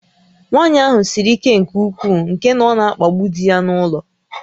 Nwaanyị ahụ siri ike nke ukwuu nke na ọ na-akpagbu di ya n'ụlọ